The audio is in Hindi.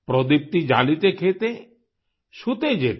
प्रोदीप्ती जालिते खेते शुते जेते